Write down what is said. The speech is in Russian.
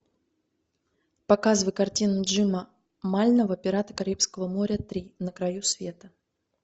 показывай картину джима мальнова пираты карибского моря три на краю света